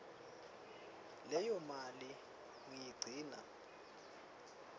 leyo mali ngiyigcina